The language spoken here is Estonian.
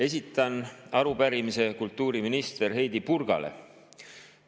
Esitan arupärimise kultuuriminister Heidy Purgale.